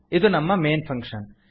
ಇದು ನಮ್ಮ main function